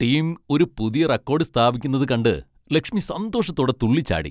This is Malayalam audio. ടീം ഒരു പുതിയ റെക്കോഡ് സ്ഥാപിക്കുന്നത് കണ്ട് ലക്ഷ്മി സന്തോഷത്തോടെ തുള്ളിച്ചാടി .